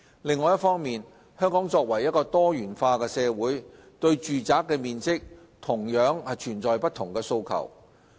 另一方面，香港作為多元化社會，對住宅面積同樣存在不同的訴求。